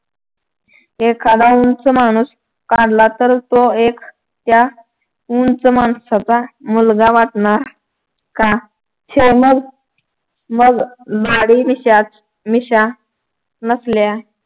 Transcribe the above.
एखाद्या उंच माणूस काढला तर तो एक त्या उंच माणसाचा मुलगा वाटणार का शौनग मग दाढी-मिशाच मिशा नसल्या